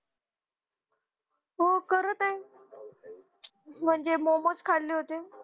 हो करत हाय म्हणजे momos होते